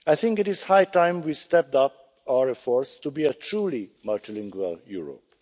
It is high time we stepped up our efforts to be a truly multilingual Europe.